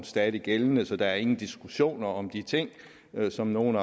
stadig gældende så der er ingen diskussion om de ting som nogle